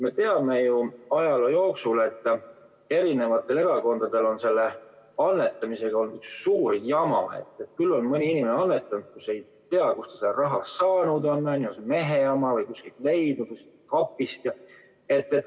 Me teame ju ajaloost, et erinevatel erakondadel on selle annetamisega olnud üks suur jama – küll on mõni inimene annetanud, mõni ei tea, kust ta selle raha saanud on, on see mehe oma või kuskilt kapist leitud.